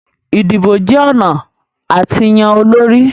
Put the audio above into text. Idibo jẹ ọna a ti yan olori